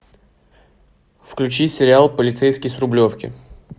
включи сериал полицейский с рублевки